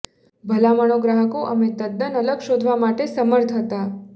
ભલામણો ગ્રાહકો અમે તદ્દન અલગ શોધવા માટે સમર્થ હતા